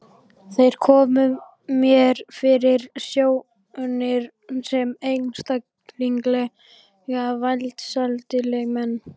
Þeir komu mér fyrir sjónir sem einstaklega velsældarlegir menn.